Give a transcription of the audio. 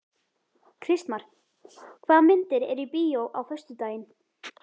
Kristmar, hvaða myndir eru í bíó á föstudaginn?